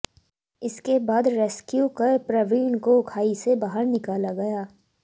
इसके बाद रेस्क्यू कर प्रवीण को खाई से बाहर निकाला गया